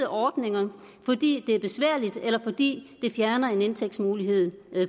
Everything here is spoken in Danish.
ordninger fordi det er besværligt eller fordi det fjerner en indtægtsmulighed